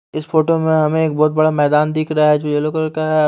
इस फोटो में हमें एक बहुत बड़ा मैदान दिख रहा है जो येलो कलर का है।